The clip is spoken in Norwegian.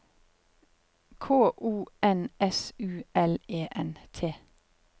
K O N S U L E N T